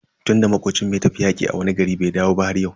Tunda makocin mu ya tafi yaƙi a wani gari bai dawo ba har yau.